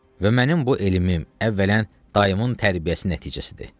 Və mənim bu elim əvvələn dayımın tərbiyəsi nəticəsidir.